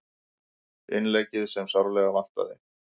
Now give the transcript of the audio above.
Innleggið sem sárlega vantaði